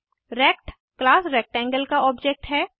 rect class rectangle का object है